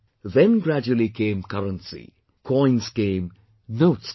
Then gradually came currency, coins came, notes came